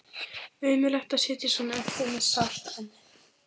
Ömurlegt að sitja svona eftir með sárt ennið.